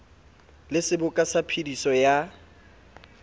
le seboka sa phediso ya